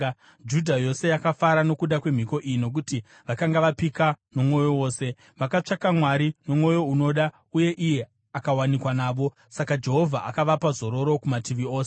Judha yose yakafara nokuda kwemhiko iyi nokuti vakanga vapika nomwoyo wose. Vakatsvaka Mwari nomwoyo unoda, uye iye akawanikwa navo. Saka Jehovha akavapa zororo kumativi ose.